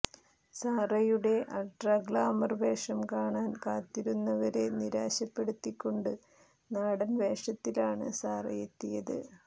സാറയുടെ ultra glamour വേഷം കാണാൻ കാത്തിരുന്നവരെ നിരാശപ്പെടുത്തിക്കൊണ്ട് നാടൻ വേഷത്തിലാണ് സാറയെത്തിയത്